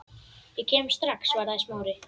Ég kem strax- svaraði Smári.